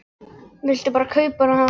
Vildi bara kaupa hana af mér!